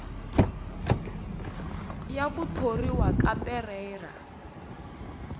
ya ku thoriwa ka perreira